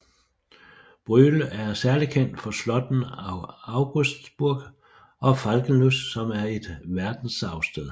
Brühl er særlig kendt for slottene Augustsburg og Falkenlust som er et verdensarvssted